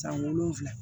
San wolonwula